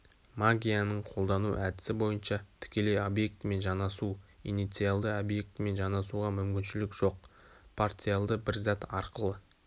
магияның қолдану әдісі бойынша тікелей объектімен жанасу инициалды объектімен жанасуға мүмкіншілік жоқ парциалды бір зат арқылы